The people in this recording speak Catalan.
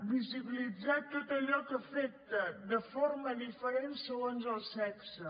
visibilitzar tot allò que afecta de forma diferent segons el sexe